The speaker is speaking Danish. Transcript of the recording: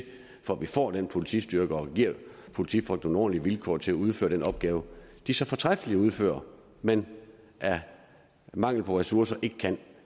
for at vi får den politistyrke og giver politifolkene nogle ordentlige vilkår til at udføre den opgave de så fortræffeligt udfører men af mangel på ressourcer ikke kan